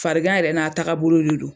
Farigan yɛrɛ n'a tagabolo de don